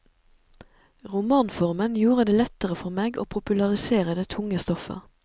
Romanformen gjorde det lettere for meg å popularisere det tunge stoffet.